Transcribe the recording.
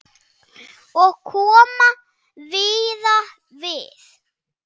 Og kom víða við.